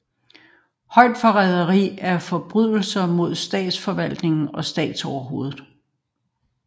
Højforræderi er forbrydelser mod statsforfatning og statsoverhovedet